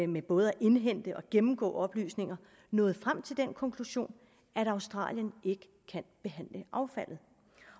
med både at indhente og gennemgå oplysninger nået frem til den konklusion at australien ikke kan behandle affaldet